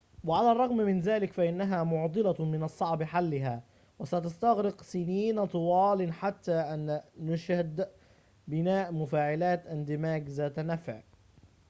وعلى الرغم من ذلك فإنها معضلة من الصعب حلها وستستغرق سنين طوال قبل أن نشهد بناء مفاعلات اندماج ذات نفع